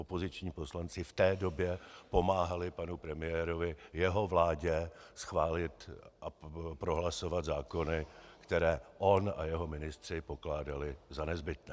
Opoziční poslanci v té době pomáhali panu premiérovi, jeho vládě, schválit a prohlasovat zákony, které on a jeho ministři pokládali za nezbytné.